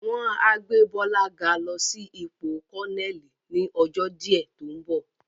Wọ́n á gbé Bọ́lá ga lọ sí ipò Kọ́nẹ́ẹ̀lì ni ọjọ́ díẹ̀ tó ń bọ̀